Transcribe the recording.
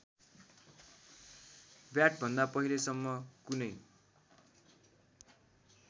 व्याटभन्दा पहिलेसम्म कुनै